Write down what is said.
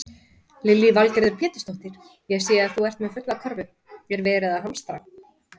Lillý Valgerður Pétursdóttir: Ég sé að þú ert með fulla körfu, er verið að hamstra?